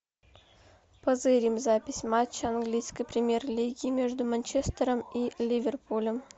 позырим запись матча английской премьер лиги между манчестером и ливерпулем